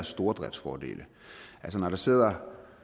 stordriftsfordele når der sidder